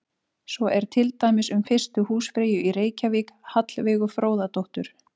Svo er til dæmis um fyrstu húsfreyju í Reykjavík, Hallveigu Fróðadóttur.